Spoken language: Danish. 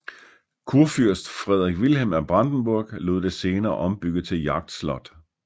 Kurfyrst Fredrik Wilhelm af Brandenburg lod det senere ombygge til jagtslot